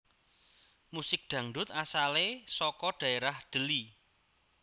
Musik Dangdut asalé saka dhaérah Deli